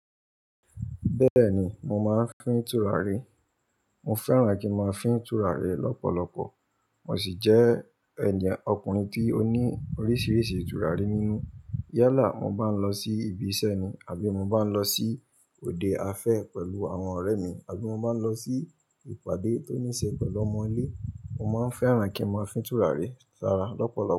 Bẹ́ẹ̀ni, mo máa ń fín turari. Mo fẹ́ràn kí n máa fín turari lọ́pọ̀lọpọ̀. Mo sì jẹ́ ènìyàn ọkùnrin tí ó ní oríṣiríṣi turari nínú. Yálà mo bá ń lọ sí ibi iṣẹ́ ni àbí mo bá ń lọ sí òde afẹ́ pẹ̀lú àwọn ọ̀rẹ́ mi àbí mo bá ń lọ sí ìpàdé tó ní ṣe pẹ̀lú ọmọ ilé, mo máa ń fẹ́ràn kí n máa fín turari sára lọ́pọ̀lọpọ̀